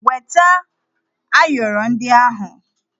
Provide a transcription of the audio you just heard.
Weta ayọrọ ndị ahụ!